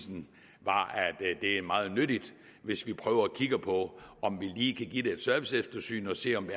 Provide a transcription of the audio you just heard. var at det er meget nyttigt hvis vi prøver at kigge på om vi lige kan give det et serviceeftersyn og se om